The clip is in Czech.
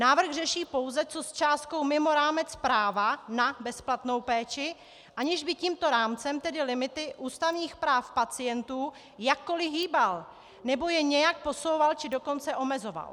Návrh řeší pouze, co s částkou mimo rámec práva na bezplatnou péči, aniž by tímto rámcem, tedy limity ústavních práv pacientů, jakkoli hýbal nebo je nějak posouval, či dokonce omezoval.